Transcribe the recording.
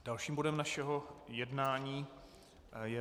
Dalším bodem našeho jednání je